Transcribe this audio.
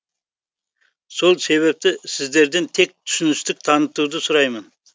сол себепті сіздерден тек түсіністік танытуды сұраймын